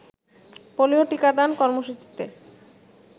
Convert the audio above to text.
polio টিকাদান কর্মসূচিতে